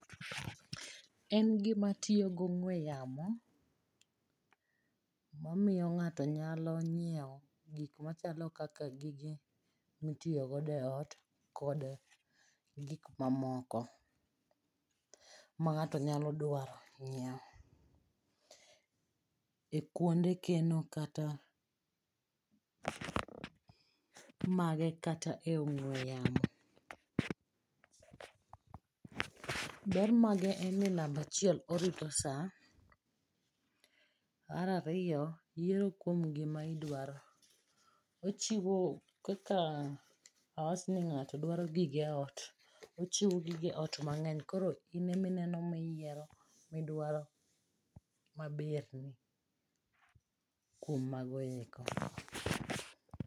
En gima tiyo gi ong'ue yamo ma miyo ng'ato nyalo nyiewo gik machalo kaka gik mitiyo godo eot kod gik mamoko ma ng'ato nyalo dwaro nyiewo ekuonde keno mage kata e ong'ue yamo. Ber mage en ni namba achiel orito saa. Mar ariyo yiero kuom gima idwaro. Ochiwo kaka awach ni ng'ato dwaro gige ot,.ochiwo gige ot mang'any koro in ema iyiero maberni kuom mago eko.